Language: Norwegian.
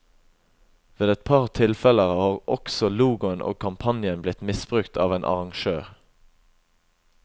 Ved et par tilfeller har også logoen og kampanjen blitt misbrukt av en arrangør.